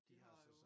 De har jo